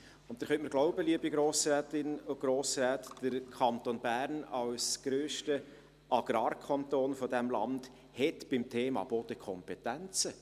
Sie können mir glauben, liebe Grossrätinnen und Grossräte, als grösster Agrarkanton dieses Landes hat der Kanton Bern beim Thema Boden Kompetenzen.